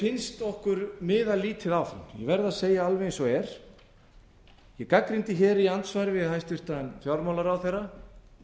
finnst okkur miða lítið áfram ég verð að segja alveg eins og er ég gagnrýndi hér í andsvari við hæstvirtan fjármálaráðherra